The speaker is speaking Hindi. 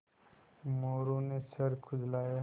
मोरू ने सर खुजलाया